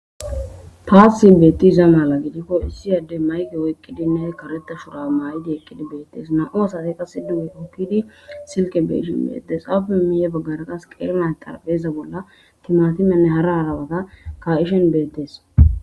Taasi beetiza mala gidiko issi addey mayke oyqidinne kareta shurabe mayidi eqqidi beetees; nam'u asati qasse duge hokkidi silke be'ishin beetees; aape miyye bagaara qas qeeri na'ati xarapheza bolla timaatimenne hara hara woga ka'ishin beetees.